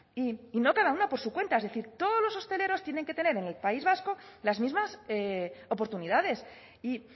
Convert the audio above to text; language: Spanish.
y no cada una por su cuenta es decir todos los hosteleros tienen que tener en el país vasco las mismas oportunidades y